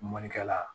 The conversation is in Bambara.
Mɔnikɛla